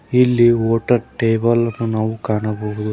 ಇಲ್ಲಿ hotel table ಅನ್ನು ನಾವು ಕಾಣಬಹುದು.